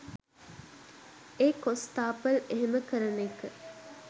ඒ කොස්තාපල් එහෙම කරන එක